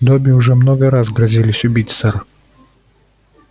добби уже много раз грозились убить сэр